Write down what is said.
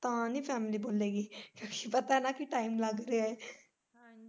ਪਤਾ ਨਾ time ਲੱਗ ਰਿਹਾ ਐ।